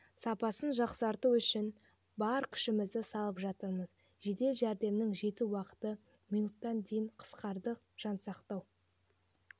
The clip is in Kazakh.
сапасын жақсарту үшін бар күшімізді салып жатырмыз жедел жәрдемнің жету уақыты минуттан дейін қысқарды жансақтау